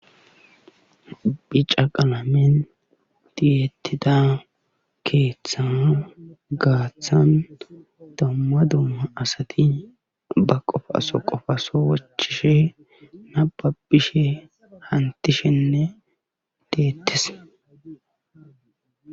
bicca qalamen tiyetida keeththa gaaththan dumma dumma qommo asati ba qofaso qofaso wochchishe nababishe hamutishenne deetees.